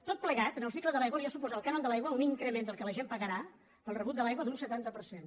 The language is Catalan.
tot plegat en el cicle de l’aigua li ha suposat al cànon de l’aigua un increment del que la gent pagarà pel rebut de l’aigua d’un setanta per cent